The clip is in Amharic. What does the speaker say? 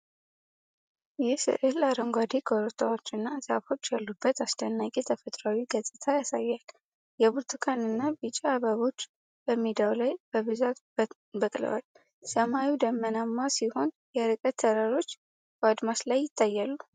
ይህ ስዕል አረንጓዴ ኮረብታዎችና ዛፎች ያሉበትን አስደናቂ ተፈጥሯዊ ገጽታ ያሳያል። የብርቱካንና ቢጫ አበባዎች በሜዳው ላይ በብዛት በቅለዋል። ሰማዩ ደመናማ ሲሆን፣ የርቀት ተራሮች በአድማስ ላይ ይታያሉ።